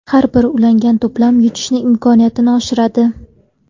Har bir ulangan to‘plam yutish imkoniyatini oshiradi.